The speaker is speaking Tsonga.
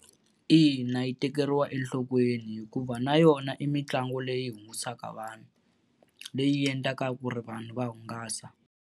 Ina yi tekeriwa enhlokweni hikuva na yona i mitlangu leyi hungusaka vanhu, leyi endlaka ku ri vanhu va hungasa.